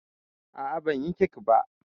A'a, banyi kek ba.